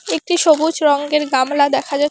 একটি সবুজ রঙ্গের গামলা দেখা যা--